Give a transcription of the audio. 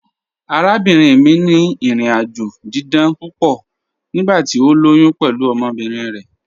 Àràbìnrin mi ni ìrìn-àjọ̀ dídán púpọ̀ nígbàtí o lóyún pẹ̀lú ọmọbirin rẹ.